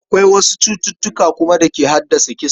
Akwai wasu cututtuka kuma da ke haddasa kisa.